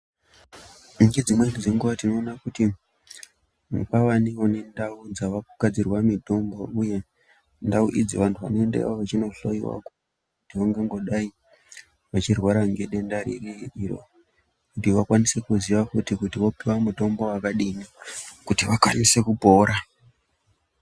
Ngedzimweni dzenguwa tinoona kuti kwavawo nendau dzaakugadzirwa mitombo uye ndau idzi vanthu vanoendayo veindohloyiwa kuti vanthu vangangodai veirwara ngedenda ririyo kuti vakwanise kuziya kuti vapuwe mitombo wakadini kuti vakwanise kupora.